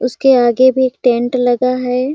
उसके आगे भी एक टेंट लगा हैं।